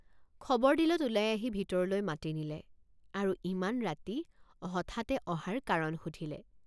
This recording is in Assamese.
খবৰ দিলত ওলাই আহি ভিতৰলৈ মাতি নিলে আৰু ইমান ৰাতি হঠাতে অহাৰ কাৰণ সুধিলে।